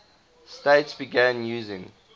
states began using